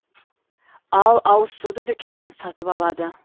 ал ауызсуды дүкеннен сатып алады